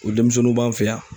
O denmisɛnninw b'an fɛ yan